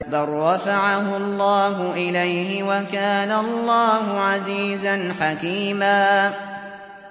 بَل رَّفَعَهُ اللَّهُ إِلَيْهِ ۚ وَكَانَ اللَّهُ عَزِيزًا حَكِيمًا